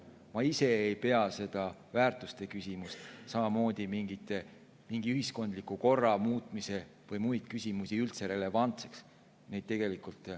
Ma ise ei pea seda väärtuste küsimust, samamoodi mingi ühiskondliku korra muutmise küsimust või muid küsimusi üldse relevantseks.